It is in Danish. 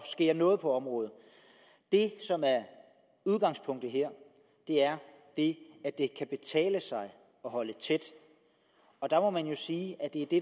sker noget på området det som er udgangspunktet her er det at det kan betale sig at holde tæt der må man jo sige at det er det